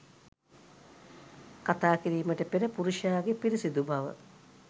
කතා කිරීමට පෙර පුරුෂයාගේ පිරිසිදු බව